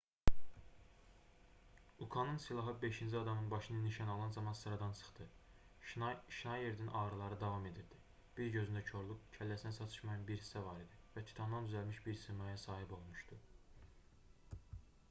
ukanın silahı beşinci adamın başını nişan alan zaman sıradan çıxdı şnayerdin ağrıları davam edirdi bir gözündə korluq kəlləsində çatışmayan bir hissə var idi və titandan düzəlmiş bir simaya sahib olmuşdu